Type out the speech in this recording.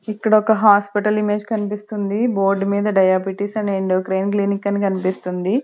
ఇక్కడ ఒక hospital image కన్పిస్తుంది బోర్డు మీద డయాబెటిస్ అండ్ ఎండోక్రైన్ క్లినిక్ అని కన్పిస్తుంది.